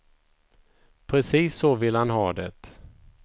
Precis så vill han ha det.